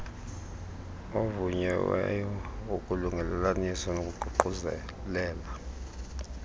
ovunyiweyo wolungelelaniso nokuququzelela